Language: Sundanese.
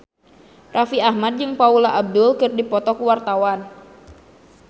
Raffi Ahmad jeung Paula Abdul keur dipoto ku wartawan